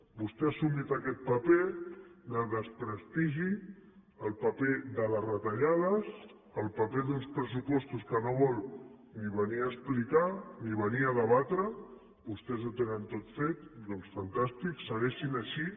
vostè ha assumit aquest paper de desprestigi el paper de les retallades el paper d’uns pressupostos que no vol ni venir a explicar ni venir a debatre vostès ho tenen tot fet doncs fantàstic segueixin així